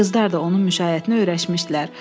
Qızlar da onun müşayiətinə öyrəşmişdilər.